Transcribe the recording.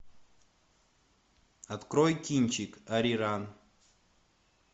открой кинчик ариран